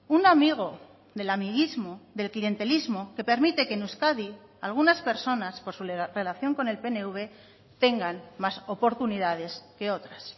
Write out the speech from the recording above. un amigo del amiguismo del clientelismo que permite que en euskadi algunas personas por su relación con el pnv tengan más oportunidades que otras